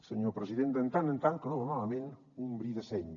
senyor president de tant en tant que no va malament un bri de seny